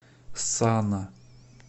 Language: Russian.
сана